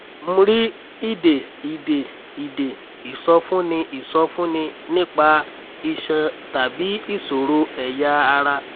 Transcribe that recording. mri ìdè ìdè ìdè ìsọfúnni ìsọfúnni nípa iṣan tàbí ìṣòro ẹ̀yà ara?